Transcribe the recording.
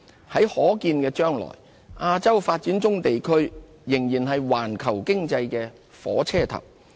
在可見的將來，亞洲發展中地區仍然是環球經濟的火車頭。